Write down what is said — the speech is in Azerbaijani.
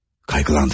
Qayğılandık.